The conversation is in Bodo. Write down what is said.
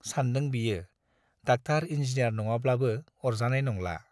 सानदों बियो डाक्टार इन्जिनियार नङाब्लाबो अरजानाय नंला।